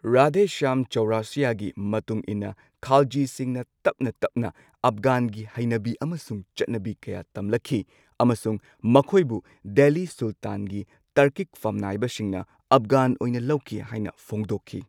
ꯔꯥꯙꯦ ꯁ꯭ꯌꯥꯝ ꯆꯧꯔꯁꯤꯌꯒꯤ ꯃꯇꯨꯡ ꯏꯟꯅ ꯈꯥꯜꯖꯤꯁꯤꯡꯅ ꯇꯞꯅ ꯇꯞꯅ ꯑꯐꯒꯥꯟꯒꯤ ꯍꯩꯅꯕꯤ ꯑꯃꯁꯨꯡ ꯆꯠꯅꯕꯤ ꯀꯌꯥ ꯇꯝꯂꯛꯈꯤ, ꯑꯃꯁꯨꯡ ꯃꯈꯣꯏꯕꯨ ꯗꯦꯜꯂꯤ ꯁꯨꯜꯇꯥꯟꯒꯤ ꯇꯔꯀꯤꯛ ꯐꯝꯅꯥꯏꯕꯁꯤꯡꯅ ꯑꯐꯒꯥꯟ ꯑꯣꯏꯅ ꯂꯧꯈꯤ ꯍꯥꯏꯅ ꯐꯣꯡꯗꯣꯛꯈꯤ꯫